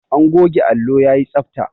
An goge allo yayi tsabta.